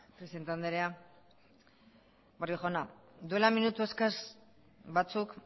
presidente andrea barrio jauna duela minutu eskas batzuk